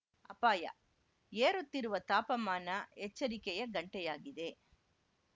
ಅಪಾಯ ಏರುತ್ತಿರುವ ತಾಪಮಾನ ಎಚ್ಚರಿಕೆಯ ಗಂಟೆಯಾಗಿದೆ